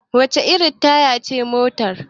wacece irin Taya ce a motar?